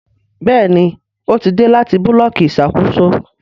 Béèni o tí dé láti Búlọ̀kì Ìṣàkóso.